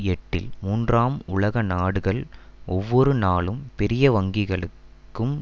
எட்டில் மூன்றாம் உலக நாடுகள் ஒவ்வொரு நாளும் பெரிய வங்கிகளுக்கும்